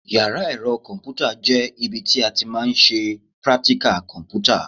Yàrá ẹ̀rọ kọ̀m̀pútà jẹ́ ibi tí a ti máa ń ṣe prátíkà kọ̀m̀pútà.